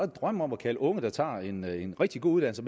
drømme om at kalde unge der tager en en rigtig god uddannelse